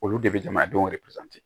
Olu de bɛ jamanadenw de peze